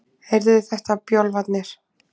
Heyrðuð þið þetta, bjálfarnir?